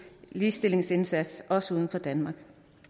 ligestillingsindsats også uden for danmark